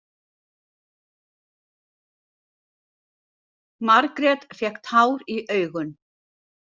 Margrét fékk tár í augun.